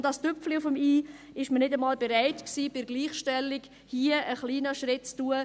Und als das Tüpfchen auf dem i war man nicht einmal bereit, bei der Gleichstellung hier einen kleinen Schritt zu tun.